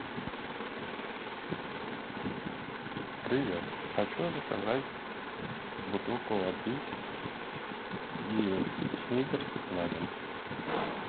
привет хочу заказать бутылку воды и сникерс на дом